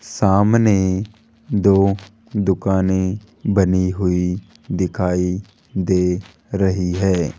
सामने दो दुकानें बनी हुई दिखाई दे रही है।